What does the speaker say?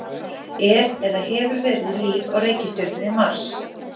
Er eða hefur verið líf á reikistjörnunni Mars?